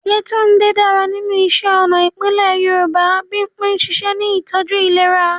Yetunde dára nínú iṣẹ́ ọnà ìbílẹ̀ Yorùbá. Bimpe ń ṣiṣẹ́ ní ìtọ́jú ìlera.